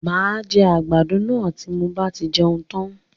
Máa jẹ àgbàdo náà tí mo bá tí jẹun tan.